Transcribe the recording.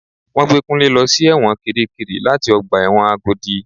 Wọ́n gbé Kunle lọ sí ẹ̀wọ̀n kirikiri láti ọgbà ẹ̀wọ̀n Agodi.